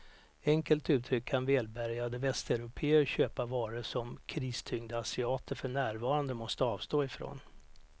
Enkelt uttryckt kan välbärgade västeuropéer köpa varor som kristyngda asiater för närvarande måste avstå ifrån.